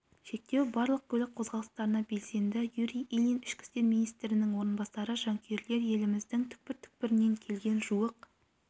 шектеу барлық көлік қозғалыстарына белгіленді юрий ильин ішкі істер министрінің орынбасары жанкүйерлер еліміздің түкпір-түкпірінен келген жуық